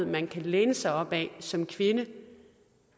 man kan læne sig op ad som kvinde